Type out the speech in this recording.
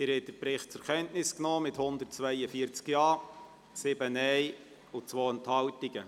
Sie haben den Bericht zur Kenntnis genommen mit 142 Ja-, 7 Nein-Stimmen und 2 Enthaltungen.